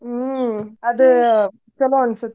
ಹ್ಮ್ ಆದ ಚುಲೊ ಅನಿಸತ್ತ.